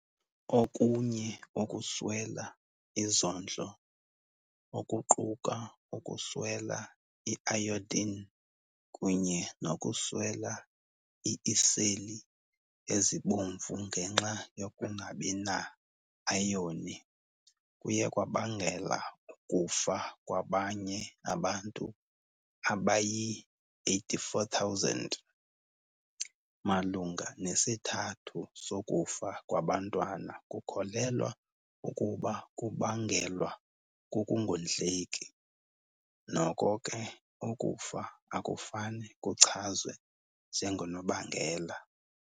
Okunye ukuswela izondlo, okuquka ukuswela iayodin kunye nokuswela iiseli ezibomvu ngenxa yokungabi na-ayoni, kuye kwabangela ukufa kwabanye abantu abayi-84,000. Malunga nesithathu sokufa kwabantwana kukholelwa ukuba kubangelwa kukungondleki, noko ke ukufa akufane kuchazwe njengonobangela.